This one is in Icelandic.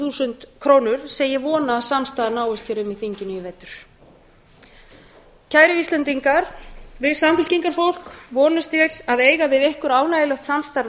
þúsund krónur sem ég vona að samstaða náist um í þinginu í vetur kæru íslendingar við samfylkingarfólk vonumst til að eiga við ykkur ánægjulegt samstarf